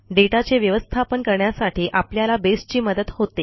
दाता चे व्यवस्थापन करण्यासाठी आपल्याला baseची मदत होते